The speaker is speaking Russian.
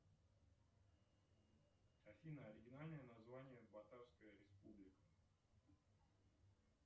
афина оригинальное название ватарская республика